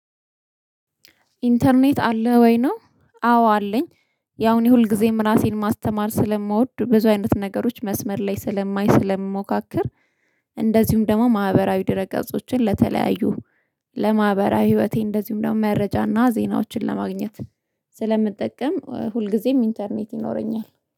ኢንተርኔት አለ ወይ ነው አዎ አለኝ ያው እኔ ሁልጊዜም ራሴን ማስተማር ስለምወድ ብዙ አይነት ነገሮች መስመር ላይ ስለማይ ስለምሞካከር እንደዚሁም ደግሞ ማህበራዊ ድረ ገጾችን ለተለያዩ ለማህበራዊ ህይወቴ እንደዚሁም ደግሞ መረጃና ዜናዎችን ለማግኘት ስለምጠቀም ሁልጊዜም ኢንተርኔት ይኖረኛል።